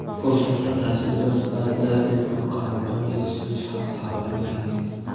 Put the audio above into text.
kosmosda tajriba sifatida ilk bor qalampir yetishtirilishi haqida xabar bergandik.